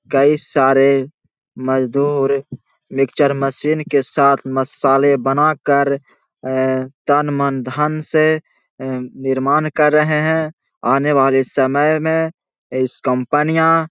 Guys सारे मजदूर mixture machine के साथ मसाले बना कर ए तन मन धन से ए निर्माण कर रहे हैं। आने वाले सयम में इस कंपनियाँ --